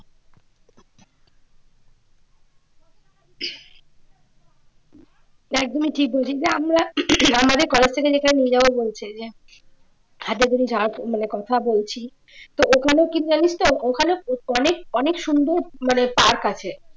একদমই ঠিক বলছিস যে আমরা আমাদের কলেজ থেকে যেখানে নিয়ে যাবে বলছে যে মানে যার কথা বলছি তো ওখানে কি জানিস তো ওখানে অনেক অনেক সুন্দর মানে park আছে